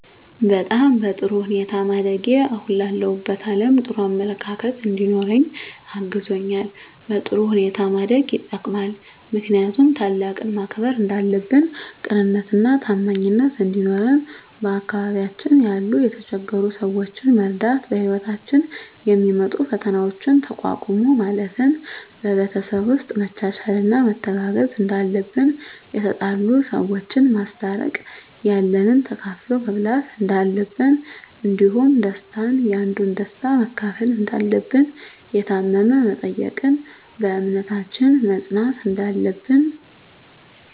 በጣም በጥሩ ሁኔታ ማደጌ አሁን ላለሁበት አለም ጥሩ አመለካከት እንዲኖረኝ አግዞኛል በጥሩ ሁኔታ ማደግ የጠቅማል ምክንያቱም ታላቅን ማክበር እንዳለብን ቅንነትና ታማኝነት እንዲኖረን በአካባቢያችን ያሉ የተቸገሩ ሰዎችን መርዳት በህይወታችን የሚመጡ ፈተናዎችን ተቋቁሞ ማለፍ ን በቤተሰብ ውስጥ መቻቻልና መተጋገዝ እንዳለብን የተጣሉ ሰዎችን ማስታረቅ ያለንን ተካፍሎ መብላት እንዳለብን እንዲሁም ደስታን ያንዱን ደስታ መካፈል እንዳለብን የታመመ መጠየቅን በእምነታችን መፅናት እንዳለብን